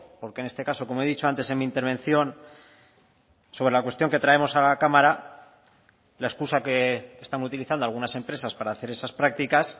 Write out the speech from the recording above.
porque en este caso como he dicho antes en mi intervención sobre la cuestión que traemos a la cámara la excusa que están utilizando algunas empresas para hacer esas prácticas